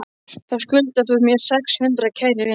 Þá skuldar þú mér sex hundruð, kæri vinur.